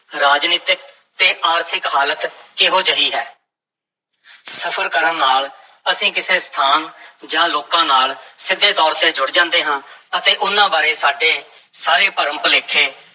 ਰਾਜਨੀਤਕ ਤੇ ਆਰਥਿਕ ਹਾਲਤ ਕਿਹੋ ਜਿਹੀ ਹੈ ਸਫ਼ਰ ਕਰਨ ਨਾਲ ਅਸੀਂ ਕਿਸੇ ਸਥਾਨ ਜਾਂ ਲੋਕਾਂ ਨਾਲ ਸਿੱਧੇ ਤੌਰ ਤੇ ਜੁੜ ਜਾਂਦੇ ਹਾਂ ਅਤੇ ਉਹਨਾਂ ਬਾਰੇ ਸਾਡੇ ਸਾਰੇ ਭਰਮ-ਭੁਲੇਖੇ